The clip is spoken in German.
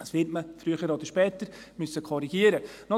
Dies wird man früher oder später korrigieren müssen.